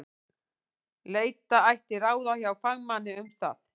Leita ætti ráða hjá fagmanni um það.